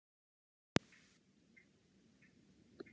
Úr trefjum hamps er til dæmis búinn til pappír og vefnaðarvara.